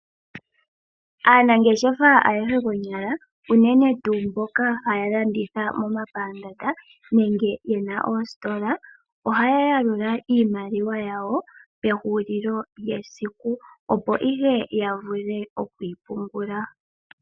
Aanangeshefa ayehe konyala, unene tuu mboka haya landitha momapandaanda nenge yena oositola, ohaya lalula iimaliwa yawo pehulilo lyesiku, opo ihe ya vule oku yi pungula.